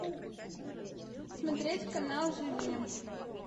смотреть канал живи